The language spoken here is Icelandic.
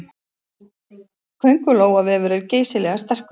Köngulóarvefur er geysilega sterkur.